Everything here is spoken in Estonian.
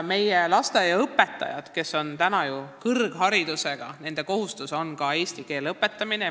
Meie lasteaiaõpetajad on täna ju enamikus kõrgharidusega ja nende kohustus on ka eesti keele õpetamine.